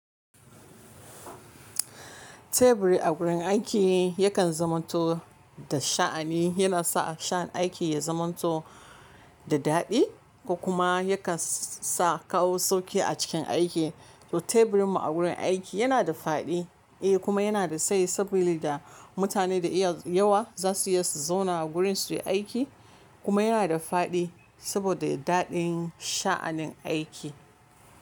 Teburi a gurin aiki yakan zamanto da sha'ani. Yana sa sha aiki ya zamanto da daɗi ko kuma yakan sa kawo sauƙi a cikin aiki. To teburin mu a wurin aiki yana da faɗi eh kuma yana da tsayi sabida mutane da iya yawa za su iya su zauna a wurin su yi aiki kuma yana da faɗi saboda daɗin sha'anin aiki.